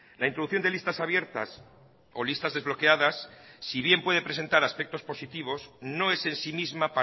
la introducción de listas abiertas o listas desbloqueadas si bien puede presentar aspectos positivos no es en sí misma